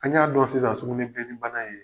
An' ɲ'a dɔn sisan sugunɛbilenni bana ye